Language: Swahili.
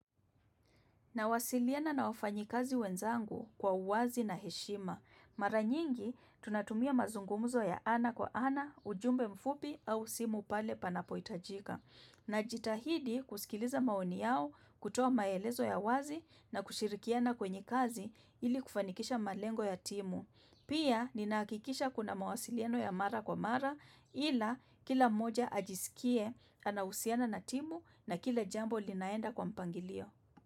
Nawasiliana na wafanyikazi wenzangu kwa uwazi na heshima. Mara nyingi tunatumia mazungumuzo ya ana kwa ana, ujumbe mfupi au simu pale panapoitajika. Najitahidi kusikiliza maoni yao kutoa maelezo ya wazi na kushirikiana kwenye kazi ili kufanikisha malengo ya timu. Pia ninahakikisha kuna mawasiliano ya mara kwa mara ila kila moja ajisikie anahusiana na timu na kila jambo linaenda kwa mpangilio.